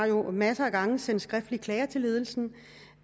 jo masser af gange har sendt skriftlige klager til ledelsen